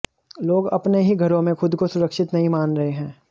लोग अपने ही घरों में खुद को सुरक्षित नहीं मान रहे है